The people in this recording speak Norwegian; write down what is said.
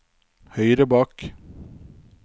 høyre bak